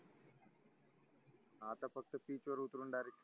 आता pitcha वर उतरून direct